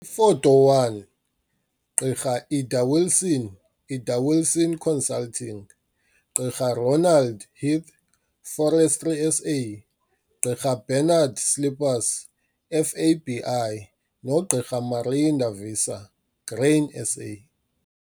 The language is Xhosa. Ifoto 1, Gq Ida Wilson, Ida Wilson Consulting, Gq Ronald Heath, Forestry SA, Njing Bernard Slippers, FABI, noGq Marinda Visser, Grain SA.